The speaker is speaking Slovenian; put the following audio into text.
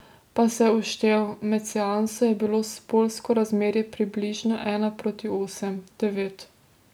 Pa se je uštel, med seanso je bilo spolsko razmerje približno ena proti osem, devet.